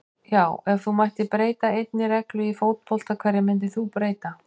Já Ef þú mættir breyta einni reglu í fótbolta, hverju myndir þú breyta?